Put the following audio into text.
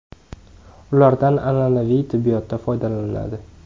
Ulardan an’anaviy tibbiyotda foydalaniladi.